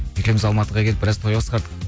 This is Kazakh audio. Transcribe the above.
екеуміз алматыға келіп біраз той басқардық